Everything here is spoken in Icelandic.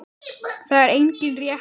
Það er engin rétt leið.